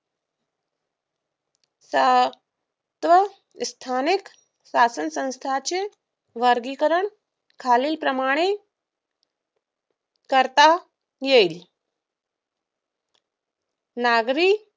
आह स्थानिक शासनसंस्थाचे वर्गीकरण खालीलप्रमाणे करता येईल नागरी